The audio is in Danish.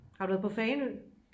har du været på fanø